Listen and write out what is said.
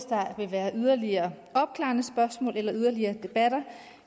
være yderligere opklarende spørgsmål eller yderligere debatter